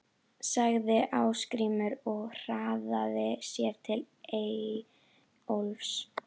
sagði Ásgrímur og hraðaði sér til Eyjólfs.